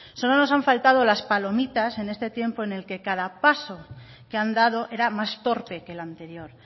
solo nos han faltado las palomitas en este tiempo en el que cada paso que han dado era más torpe que el anterior